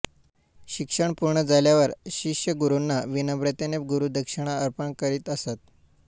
शिक्षण पूर्ण झाल्यावर शिष्य गुरुंना विनम्रतेने गुरुदक्षिणा अर्पण करीत असत